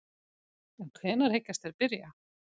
En hvenær hyggjast þeir byrja?